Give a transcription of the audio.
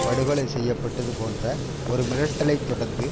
படுகொலை செய்ய பட்டது போன்ற ஒரு மிரட்டலை தொடர்ந்துதான்